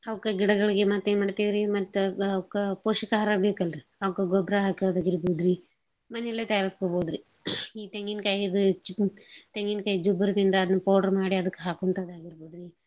ಅವ್ಕ ಗಿಡಗಳಿಗೆ ಮತೇನ್ ಮಾಡ್ತೇವ್ರಿ ಮತ್ತ ಕ~ ಕ~ ಪೋಷಕ ಆಹಾರ ಬೇಕಲ್ರಿ ಅವ್ಕ ಗೊಬ್ರ ಹಾಕದಾಗಿರ್ಬೋದ್ರಿ. ಮನೇಲೆ terrace ಗೋಬೋದ್ರಿ. ಈ ತೆಂಗಿನ್ ಕಾಯಿ ಇದ್ ತೆಂಗಿನ್ ಕಾಯ್ ಜಿಬ್ರ್ದಿಂದ ಅದ್ನ್ powder ಮಾಡಿ ಅದಕ್ ಹಾಕೋಂತಾದಿರದಬೋದ್ರಿ.